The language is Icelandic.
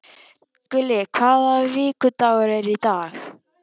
Gulli, hvaða vikudagur er í dag?